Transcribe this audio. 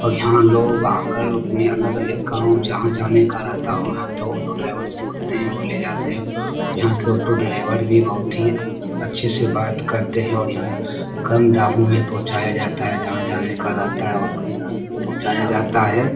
और यहां लोग आकर अपने अलग-अलग गांव जहाँ जाने का रहता है वहां पे ऑटो ड्राईवर से बोलते हैं और ले जाते हैं यहाँ के ऑटो ड्राईवर भी बहुत ही अच्छे से बात करते है और यहाँ कम दामो में पहुंचाया जाता हैजहाँ जाने का रेहता है वहां कम दामो में पहुंचाया जाता है।